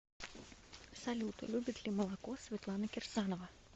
салют любит ли молоко светлана кирсанова